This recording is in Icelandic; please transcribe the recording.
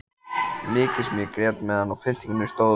Mikið sem ég grét meðan á pyntingunum stóð.